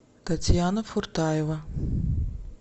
татьяна фуртаева